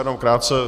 Jenom krátce.